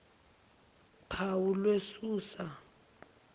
phawu lwe susa